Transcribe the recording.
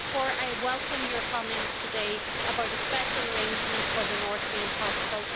So therefore I welcome your comments today about a special arrangement for the North being possible.